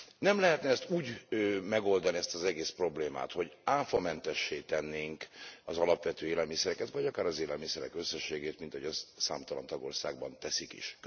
Nem lehetne e ezt úgy megoldani, ezt az egész problémát, hogy áfamentessé tennénk az alapvető élelmiszereket, vagy akár az élelmiszerek összességét, mint ahogy számtalan tagországban teszik is?